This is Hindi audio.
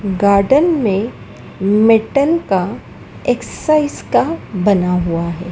गार्डन में मेटल का एक्सरसाइज का बना हुआ है।